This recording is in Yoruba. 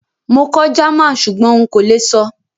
Mo kọ́ German súgbón n kó le sọ́